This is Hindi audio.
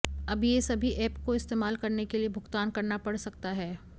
अब ये सभी एप को इस्तेमाल करने के लिए भुगतान करना पड़ सकता है